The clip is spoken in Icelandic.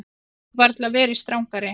Þið hefðuð varla verið strangari.